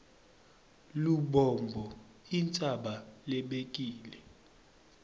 lubombo intsaba lebekile